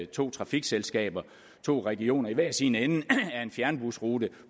to trafikselskaber i to regioner i hver sin ende af en fjernbusrute